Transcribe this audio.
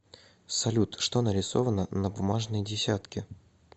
салют что нарисовано на бумажной десятке